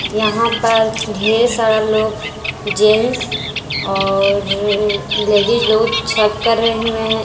यहां पर ढेर सारा लोग जेंट्स और लेडिस लोग छठ करे हुए हैं।